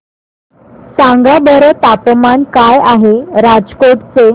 सांगा बरं तापमान काय आहे राजकोट चे